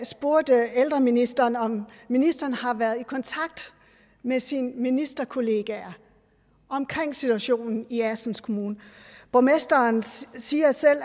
spurgte ældreministeren om ministeren har været i kontakt med sine ministerkollegaer om situationen i assens kommune borgmesteren siger